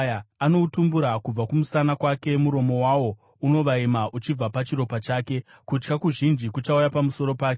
Anoudzura kubva kumusana kwake, muromo wawo unovaima uchibva pachiropa chake. Kutya kuzhinji kuchauya pamusoro pake;